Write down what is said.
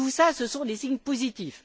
Tout cela, ce sont des signes positifs.